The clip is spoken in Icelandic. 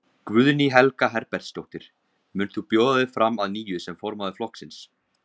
Guðný Helga Herbertsdóttir: Mund þú bjóða þig fram að nýju sem formaður flokksins?